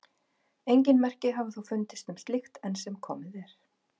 Engin merki hafa þó fundist um slíkt enn sem komið er.